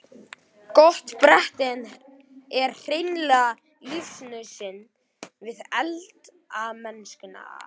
Gott bretti er hreinlega lífsnauðsyn við eldamennskuna.